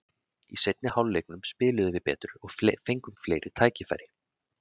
Í seinni hálfleiknum spiluðum við betur og fengum fleiri tækifæri.